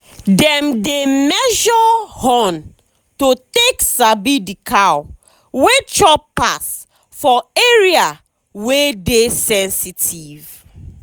dem dey measure horn to take sabi the cow wey chop pass for area wey dey sensitive.